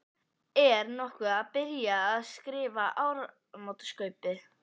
Er nokkuð byrjað að skrifa áramótaskaupið?